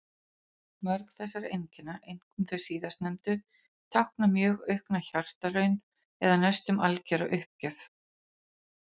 Mörg þessara einkenna, einkum þau síðastnefndu, tákna mjög aukna hjartaraun eða næstum algjöra uppgjöf.